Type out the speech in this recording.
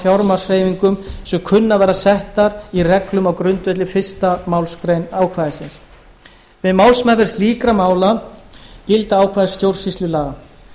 fjármagnshreyfingum sem kunna að verða settar í reglum á grundvelli fyrstu málsgrein ákvæðisins við málsmeðferð slíkra mála gilda ákvæði stjórnsýslulaga